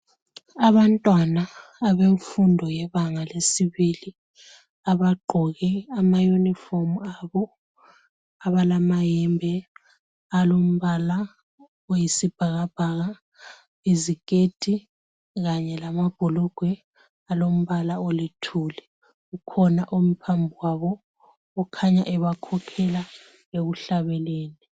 Abantwana abemfundo yebanga lesibili abagqoke ama uniform abo abalamayembe alombala oyisibhakabhaka , iziketi kanye lamabhulugwe alombala olithuli . Kukhona omi phambi kwabo okhanya ebakhokhela ekuhlabeleni.